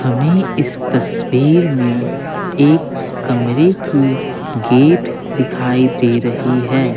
हमें इस तस्वीर में एक कमरे की गेट दिखाई दे रही है।